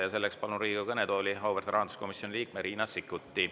Ja selleks palun Riigikogu kõnetooli auväärt rahanduskomisjoni liikme Riina Sikkuti.